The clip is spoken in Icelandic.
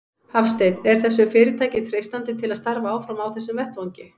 Hafsteinn: Er þessu fyrirtæki treystandi til að starfa áfram á þessum vettvangi?